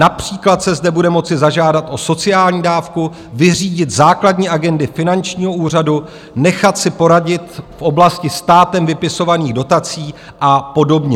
Například se zde bude moci zažádat o sociální dávku, vyřídit základní agendy finančního úřadu, nechat si poradit v oblasti státem vypisovaných dotací a podobně.